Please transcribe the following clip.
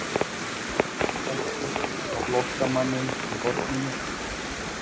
Jakob benti á flóttamanninn í horninu.